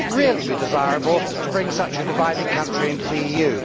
Would it really be desirable to bring such a divided country into the EU?